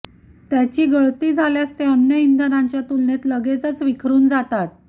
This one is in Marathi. त्याची गळती झाल्यास ते अन्य इंधनाच्या तुलनेत लगेचच विखरून जातात